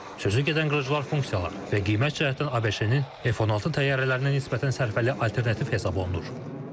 Sözügedən qırıcılar funksiyaları və qiymət cəhətdən ABŞ-nin F-16 təyyarələrinə nisbətən sərfəli alternativ hesab olunur.